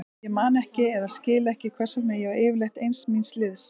Ég man ekki eða skil ekki hvers vegna ég var yfirleitt ein míns liðs.